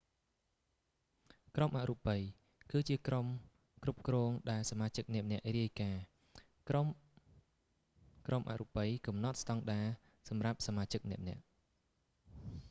ក្រុមអរូបិយ គឺជាក្រុមគ្រប់គ្រងដែលសមាជិកម្នាក់ៗរាយការណ៍ ក្រុម ក្រុមអរូបិយកំណត់ស្តង់ដារសម្រាប់សមាជិកម្នាក់ៗ